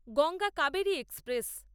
Ganga Kaveri express